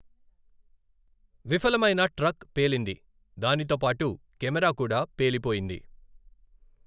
విఫలమైన, ట్రక్ పేలింది, దానితో పాటు కెమెరా కూడా పేలి పోయింది.